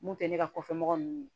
Mun tɛ ne ka kɔfɛmɔgɔ ninnu ye